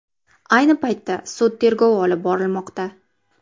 Ayni paytda sud tergovi olib borilmoqda.